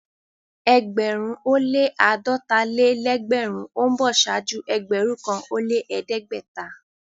Ẹgbẹ̀rún ó lẹ́ àádọ́ta-lé-lẹ́gbẹ̀rún ó ń bọ̀ ṣáájú ẹgbẹ̀rún kan ó lẹ́ ẹ̀ẹ́dẹ́gbẹ̀ta.